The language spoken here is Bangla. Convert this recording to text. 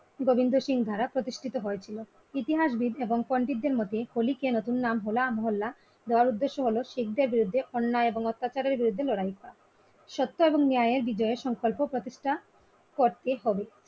গোবিন্দ সিং দ্বারা প্রতিষ্ঠিত হয়েছিল ইতিহাসবিদ এবং পন্ডিতের মধ্যে হোলি কে নতুন নাম হো লা মহল্লা দেওয়ার উদ্দেশ্য হল শিখদের বিরুদ্ধে অন্যায় এবং অত্যাচারের বিরুদ্ধে লড়াই করা সত্য এবং ন্যায়ের বিজয় সংকল্প প্রতিষ্ঠা করতে হবে।